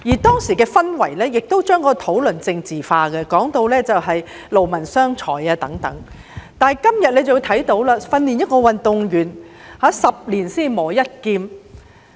當時的氛圍將整個討論政治化，有人更提到勞民傷財，但今天我們看到訓練一名運動員是"十年才磨一劍"。